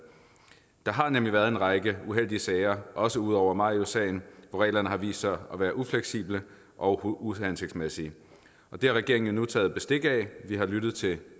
der har nemlig været en række uheldige sager også ud over mariussagen hvor reglerne har vist sig at være ufleksible og uhensigtsmæssige det har regeringen nu taget bestik af vi har lyttet til